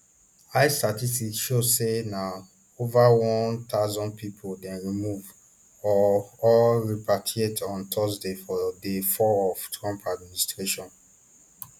ice statistics show say na ova one thousand pipo dem remove or or repatriate on thursday for day four of trump administration